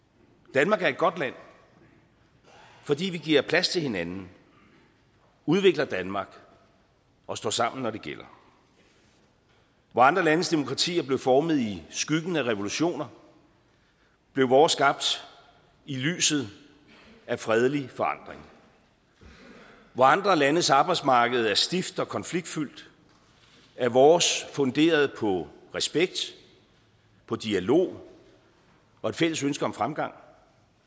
danmark er et godt land fordi vi giver plads til hinanden udvikler danmark og står sammen når det gælder hvor andre landes demokratier blev formet i skyggen af revolutioner blev vores skabt i lyset af fredelig forandring hvor andre landes arbejdsmarked er stift og konfliktfyldt er vores funderet på respekt på dialog og et fælles ønske om fremgang